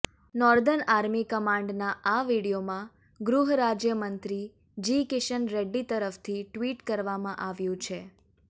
northern army કમાંડના આ વીડિયોમાં ગૃહ રાજ્યમંત્રી જી કિશન રેડ્ડી તરફથી ટ્વિટ કરવામાં આવ્યુ છે